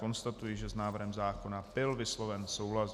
Konstatuji, že s návrhem zákona byl vysloven souhlas.